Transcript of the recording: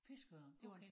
Fiskeørn okay